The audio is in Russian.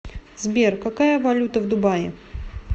сбер какая валюта в дубае